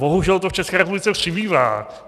Bohužel to v České republice přibývá.